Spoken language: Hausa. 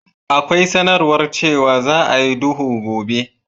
Akwai sanarwar cewa za a yi duhu a gobe.